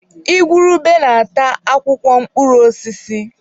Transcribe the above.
Igwurube na-ata akwụkwọ mkpụrụ osisi.